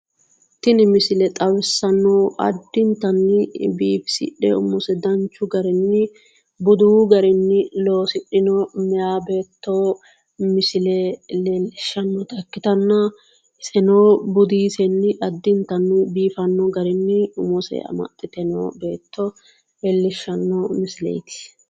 Tini misile xawissanno addintanni bifisixe umose danchu Garinni budu garinni losixinno meyaa beeto Misile leelishanota ikkitanna iseno budisenni Adintanni biifanno garinni umose amadhite Noo beeto lellishanno misileeti